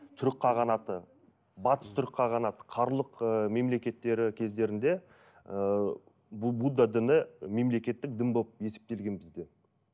түрік қағанаты батыс түрік қағанаты қарлұқ ы мемлекеттері кездерінде ыыы будда діні мемлекеттік дін болып есептелген бізде